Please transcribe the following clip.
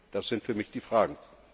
Das sind für mich die Fragen.